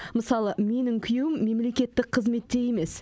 мысалы менің күйеуім мемлекеттік қызметте емес